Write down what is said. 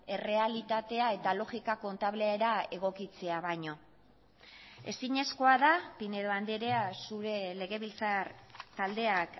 errealitatea eta logika kontablera egokitzea baino ezinezkoa da pinedo andrea zure legebiltzar taldeak